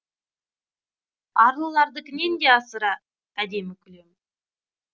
арлылардікінен де асыра әдемі күлемін